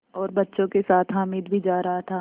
और बच्चों के साथ हामिद भी जा रहा था